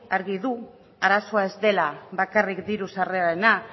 argi du arazoa ez dela bakarrik ditu sarrerarena